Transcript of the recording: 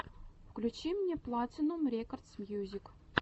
включи мне платинум рекордс мьюзик